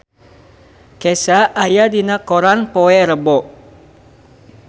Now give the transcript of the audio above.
Kesha aya dina koran poe Rebo